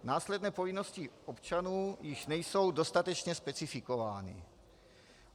Následné povinnosti občanů již nejsou dostatečně specifikovány.